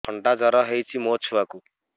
ଥଣ୍ଡା ଜର ହେଇଚି ମୋ ଛୁଆକୁ